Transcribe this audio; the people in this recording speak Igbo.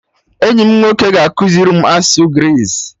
Enyi m nwoke ga-ekuziri m asụsụ Greece